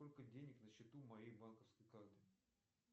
сколько денег на счету моей банковской карты